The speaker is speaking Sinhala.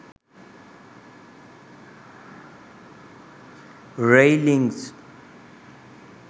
railings